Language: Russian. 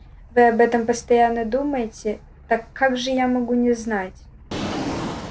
вы об этом постоянно думаете так как же я могу не знать